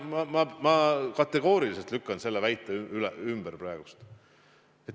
Ma kategooriliselt lükkan selle väite praegu ümber.